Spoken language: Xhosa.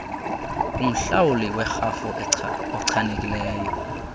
kumhlawuli werhafu ochanekileyo